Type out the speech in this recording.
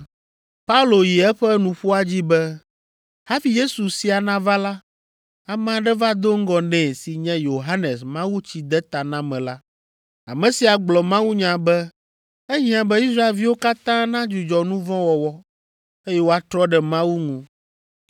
Paulo yi eƒe nuƒoa dzi be, “Hafi Yesu sia nava la, ame aɖe va do ŋgɔ nɛ si nye Yohanes Mawutsidetanamela. Ame sia gblɔ mawunya be ehiã be Israelviwo katã nadzudzɔ nu vɔ̃ wɔwɔ, eye woatrɔ ɖe Mawu ŋu.